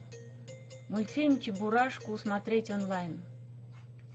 мультфильм чебурашку смотреть онлайн